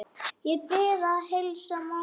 Ég bið að heilsa Manga!